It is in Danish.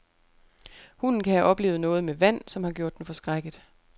Hunden kan have oplevet noget med vand, som har gjort den forskrækket.